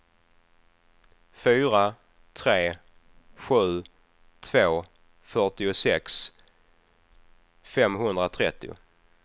fyra tre sju två fyrtiosex femhundratrettio